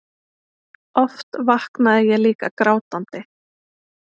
Oft vaknaði ég líka grátandi.